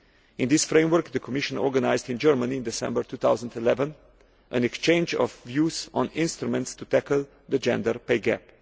In this framework the Commission organised in Germany in December 2011 an exchange of views on instruments to tackle the gender pay gap.